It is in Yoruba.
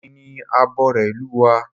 Èmi ni abore ìlú wa